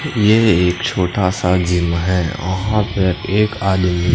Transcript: ये एक छोटा सा जिम है ओहा पे एक आदमी--